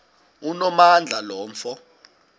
onamandla lo mfo